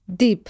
Dib.